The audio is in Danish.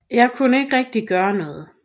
Jeg kunne ikke rigtig gøre noget